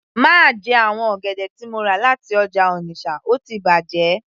Má jẹ àwọn ọ̀gẹ̀dẹ̀ tí mo rà láti ọjà Onitsha ó ti bàjẹ́